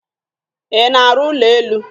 Ị na-arụ ụlọ elu?